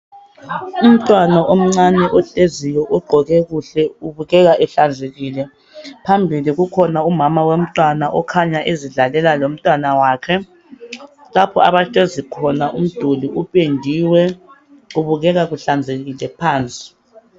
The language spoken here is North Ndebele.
Umntwana omncane ohleziyo ogqoke kuhle ubukeka ehlanzekile .Phambili kukhona umama womntwana okhanya ezidlalela lomntwana wakhe .Lapho abahlezi khona umduli upendiwe .Kubukeka kuhlanzekile phansi .